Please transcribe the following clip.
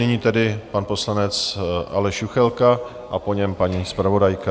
Nyní tedy pan poslanec Aleš Juchelka a po něm paní zpravodajka.